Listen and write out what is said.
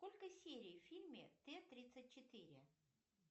сколько серий в фильме т тридцать четыре